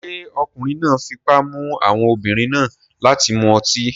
Ṣé ọkùnrin náà fipá mú àwọn obìnrin náà láti mu ọtí?